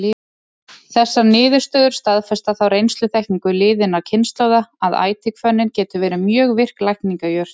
Þessar niðurstöður staðfesta þá reynsluþekkingu liðinna kynslóða, að ætihvönnin getur verið mjög virk lækningajurt.